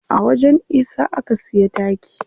A wajen isa aka siya taki.